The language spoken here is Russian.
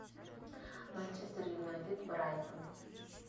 манчестер юнайтед брайтон